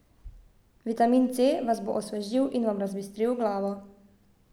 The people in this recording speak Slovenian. Vitamin C vas bo osvežil in vam razbistril glavo.